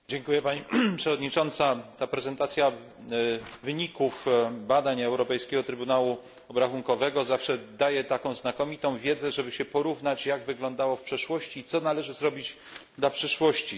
Pani przewodnicząca! Prezentacja wyników badań Europejskiego Trybunału Obrachunkowego zawsze daje znakomitą wiedzę, żeby porównać, jak wyglądało w przeszłości, i co należy zrobić dla przyszłości.